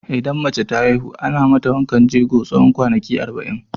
Idan mace ta haihu, ana mata wankan jego tsawon kwanaki arba'in.